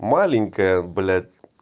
маленькая блять